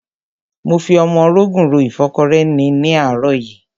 Mo fi ọmọrogùn ro ìfọ́kọrẹ́ ni ní àárọ̀ yìí.